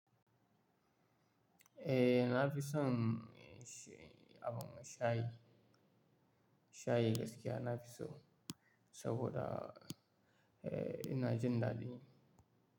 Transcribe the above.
Eh, na fi son abin sha, shayi. Shayi gaskiya nafi so saboda eh ina jin daɗi.